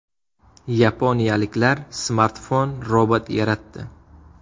Yaponiyaliklar smartfon robot yaratdi .